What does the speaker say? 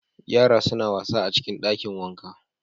Yaran suna wasa a cikin dakin wanka